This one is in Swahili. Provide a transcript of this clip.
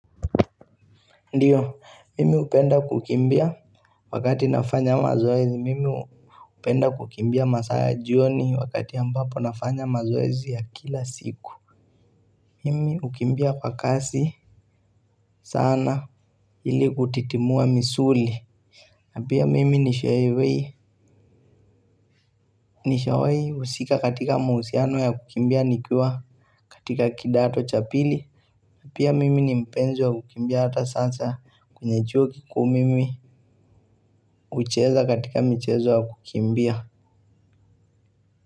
Ndiyo, mimi hupenda kukimbia wakati nafanya mazoezi, mimi hupenda kukimbia masaa ya jioni wakati ambapo nafanya mazoezi ya kila siku. Mimi hukimbia kwa kasi sana ili kutitimua misuli. Napia mimi nishawei, nishawahi husika katika mahusiano ya kukimbia nikiwa katika kidato cha pili. Napia mimi nipenzi wa kukimbia ata sasa kwenye chuo kiuu mimi hucheza katika mchezo ya kukimbia.